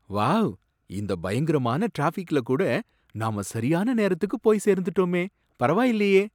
Wow! இந்த பயங்கரமான டிராஃபிக்ல கூட நாம சரியான நேரத்துக்கு போய் சேர்ந்துட்டோமே, பரவாயில்லையே!"